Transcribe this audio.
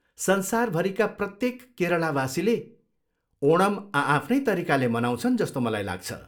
संसारभरिका प्रत्येक केरलावासीले ओणम आआफ्नै तरिकाले मनाउँछन् जस्तो मलाई लाग्छ।